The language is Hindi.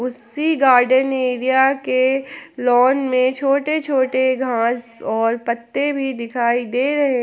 उसी गार्डन एरिया के लॉन में छोटे छोटे घास और पत्ते भी दिखाई दे रहे--